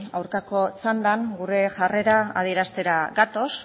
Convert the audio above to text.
aurkako txandan gure jarrera adieraztera gatoz